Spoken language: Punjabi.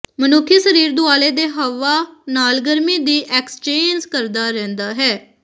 ਮਨੁੱਖੀ ਸਰੀਰ ਦੁਆਲੇ ਦੇ ਹਵਾ ਨਾਲ ਗਰਮੀ ਦੀ ਐਕਸਚੇਂਜ ਕਰਦਾ ਰਹਿੰਦਾ ਹੈ